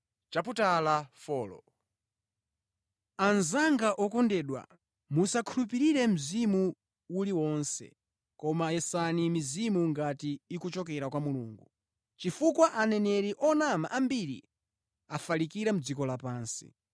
Anzanga okondedwa, musakhulupirire mzimu uliwonse, koma yesani mizimu ngati ikuchokera kwa Mulungu, chifukwa aneneri onama ambiri afalikira mʼdziko lapansi.